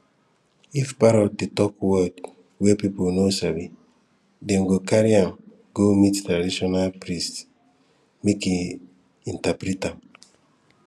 if parrot dey talk word wey people no sabi dem go carry am go meet traditional priest make e interpret am